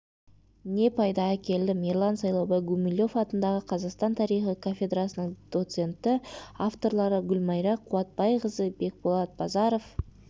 не пайда әкелдім ерлан сайлаубай гумилев атындағы қазақстан тарихы кафедрасының доценті авторлары гүлмайра қуатбайқызы бекболат базаров